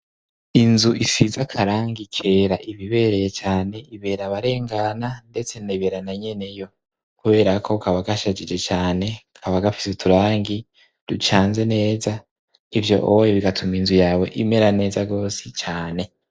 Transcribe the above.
Inzu isiza akarangi kera iba ibereye cane ibera abarengana ndetse ibera na nyene yo kubera ko kaba gashajije cane kaba gafise uturangi ducanze neza ivyo bigatuma inzu yawe imera neza gose cane.